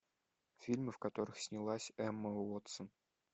фильмы в которых снялась эмма уотсон